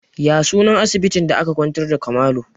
Ya sunan asibitin da aka kwantar da Kamalu?